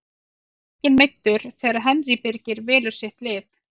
Það er enginn meiddur þegar Henry Birgir velur sitt lið.